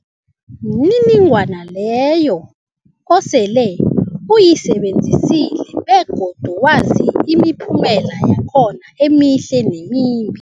mniningwana leyo osele uyisebenzisile begodu wazi imiphumela yakhona emihle nemimbi.